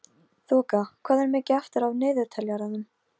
Þoka, hvað er mikið eftir af niðurteljaranum?